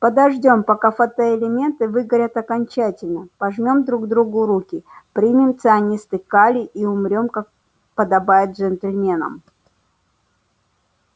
подождём пока фотоэлементы выгорят окончательно пожмём друг другу руки примем цианистый калий и умрём как подобает джентльменам